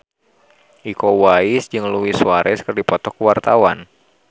Iko Uwais jeung Luis Suarez keur dipoto ku wartawan